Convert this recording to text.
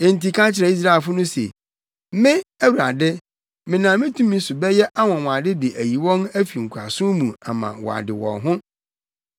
“Enti ka kyerɛ Israelfo no se, ‘Me, Awurade, menam me tumi so bɛyɛ anwonwade de ayi wɔn afi nkoasom mu ama wɔade wɔn ho.